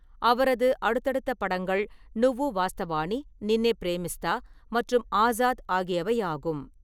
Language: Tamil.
அவரது அடுத்தடுத்த படங்கள் நுவ்வு வாஸ்தவானி, நின்னே பிரேமிஸ்தா மற்றும் ஆசாத் ஆகியவை ஆகும்.